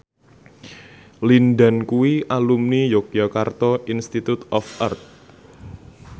Lin Dan kuwi alumni Yogyakarta Institute of Art